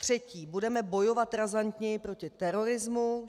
Třetí: budeme bojovat razantněji proti terorismu.